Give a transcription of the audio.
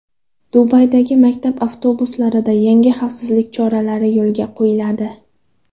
Dubaydagi maktab avtobuslarida yangi xavfsizlik choralari yo‘lga qo‘yiladi.